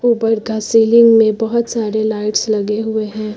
ऊपर का सीलिंग में बहुत सारे लाइट्स लगे हुए हैं।